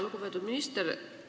Lugupeetud minister!